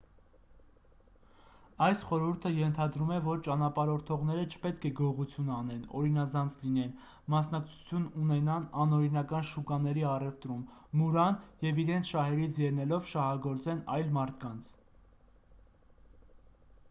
այս խորհուրդը ենթադրում է որ ճանապարհորդողները չպետք է գողություն անեն օրինազանց լինեն մասնակցություն ունենան անօրինական շուկաների առևտրում մուրան և իրենց շահերից ելնելով շահագործեն այլ մարդկանց